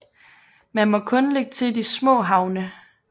Man må kun lægge til i de små havne